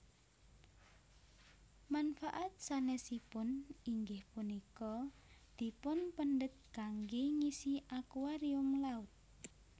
Manfaat sanèsipun inggih punika dipunpendhet kanggé ngisi akuarium laut